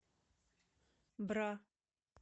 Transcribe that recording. бра